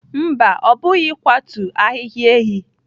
Mba, ọ pụghị ịkwatu ahịhịa enyí.